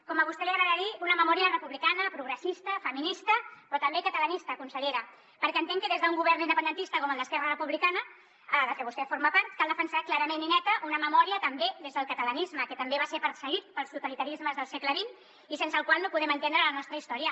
com a vostè li agrada dir una memòria republicana progressista feminista però també catalanista consellera perquè entenc que des d’un govern independentista com el d’esquerra republicana del que vostè forma part cal defensar clarament i neta una memòria també des del catalanisme que també va ser perseguit pels totalitarismes del segle xx i sense el qual no podem entendre la nostra història